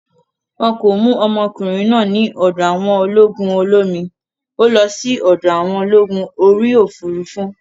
Wọn kò mú ọmọkùnrin náà ní ọ̀dọ̀ àwọn ológun olómi, ó lọ sí ọ̀dọ̀ àwọn ológun orí òfurufú